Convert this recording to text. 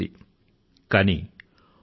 జో కర్ హిత్ అనహిత్ తాహూ సోం